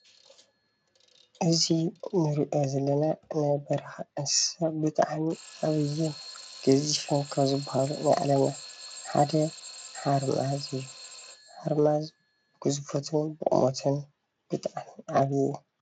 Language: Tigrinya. እዚ እንሪኦ ዘለና ናይ በረኻ እንስሳ ብጣዕሚ ዓብዩን ገዚፍን ካብ ዝበሃሉ ናይ ዓለምና ሓደ ሓርማዝ እዩ። ሓርማዝ ግዝፈቱን ቁሞቱን ብጣዕሚ ዓብዩ